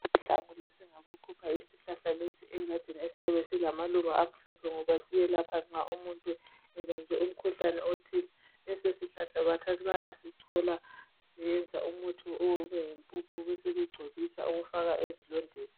Namhla ngikengazama ukukhipha isihlahla lesi esilamaluba amhlophe ngoba siyelapha nxa umuntu ebanjwe umkhuhlane othile lesi sihlahla bayasichola beyeyenza umuthi owome obeyimpuphu besebegcobisa okokufaka ezilondeni